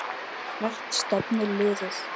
Hvert stefnir liðið?